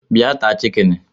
Bịa taa chikini